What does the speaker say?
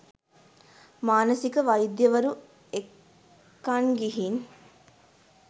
මානසික වෛද්‍යවරු එක්කන් ගිහින්